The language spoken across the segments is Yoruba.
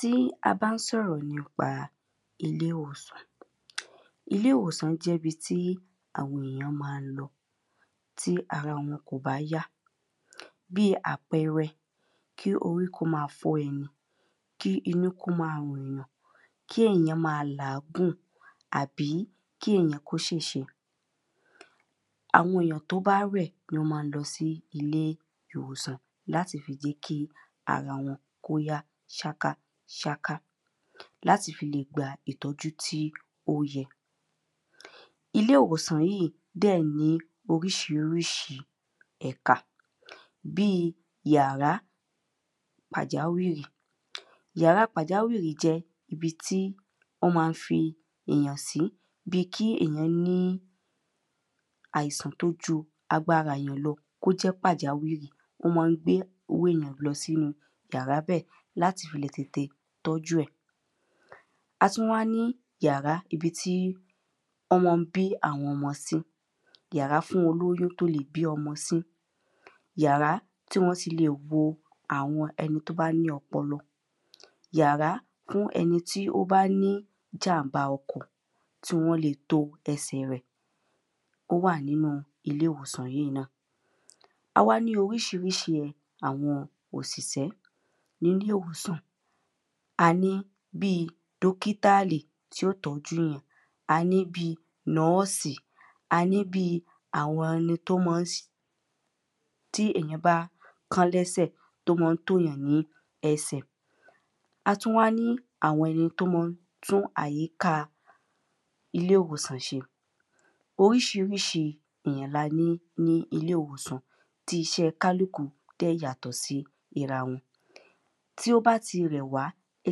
Tí a bá ń sọ̀rọ̀ nípa ilé ìwòsàn ilé ìwòsàn jẹ́ ibi tí àwọn ènìyàn má ń lọ tí ara wọn ò bá yá bí àpẹrẹ kí orí kó má fọ́ ẹni kí inú kó má rùn yàn kí èyàn má làágùn àbí kí èyàn kó ṣèṣe. Àwọn èyàn tó bá rẹ̀ ló má ń lọ sí ilé ìwòsàn láti fi jé kí ara wọn kó yá ṣáká ṣáká láti fi lè gba ìtọ́jú tí ó yẹ. Ilé ìwòsàn yíì dẹ̀ ní oríṣiríṣi ẹka bí yàrá pàjáwìrì. Yàrá pàjáwìrì jẹ́ ibi tí wọ́n má ń fi èyàn sí bí kí èyàn ní àìsàn tó ju agbára èyàn lọ kó jẹ́ pàjáwìrì wọ́n má ń gbé owó èyàn lọ sínú yàrá bẹ́ẹ̀ láti fi le tètè tọ́jú ẹ̀. A tún wá ní yàrá ibi tí wọ́n má ń bí àwọn ọmọ sí yàrá fún olóyún tó lè bí ọmọ sí. Yàrá tí wọ́n ti lè wo àwọn ẹni tó bá ní ọpọlọ, yàrá fún ẹni tí ó bá ní jàm̀bá ọkọ̀ tí wọ́n le to ẹsẹ̀ rẹ̀ ó wà nínú ilé ìwòsàn yíì náà. Awá ní oríṣiríṣi àwọn òṣìṣẹ́ níle ìwòsàn a ní bí dọ́kítàlì, tí ó tọ́jú yàn a ní bí nọ́ọ̀sì a ní bí àwọn ẹni tó má ń tí èyàn bá kán lẹ́sẹ̀ tó má ń tò yàn ní ẹsẹ̀. A tún wá ní àwọn ẹni tó má ń tún àyíká ilé ìwòsàn ṣe. Oríṣiríṣi èyàn la ní ní ilé ìwòsàn tí isẹ́ kálùkù dẹ̀ yàtọ̀ sí ira wọn. Tí ó bá ti rẹ̀ wá ẹ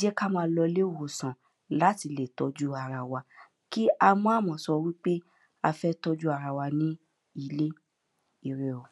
jẹ́ kí á má lọ ilé ìwòsàn láti lè tọ́jú ara wa kí á má má sọ wípé a fẹ́ tójú ara wa ní ilé ire o.